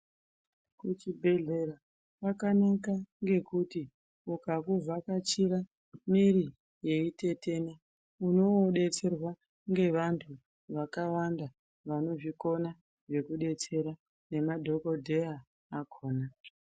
Kuchibhedhlera kwakanaka ngekuti ukakuvhakachira mwiri yeitetena. Unobetserwa ngevantu vakawanda vanozvikona zvekubetsera nemadhogodheya akona.